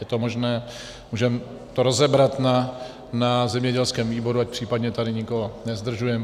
Je to možné, můžeme to rozebrat na zemědělském výboru, ať případně tady nikoho nezdržujeme.